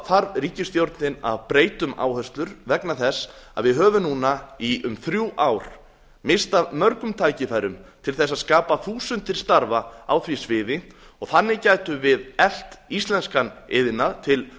þarf ríkisstjórnin að breyta um áherslur vegna þess að við höfum núna í um þrjú ár misst af mörgum tækifærum til að skapa þúsundir starfa á því sviði og þannig gætum við eflt íslenskan iðnað til